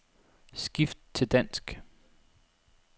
Skift til dansk.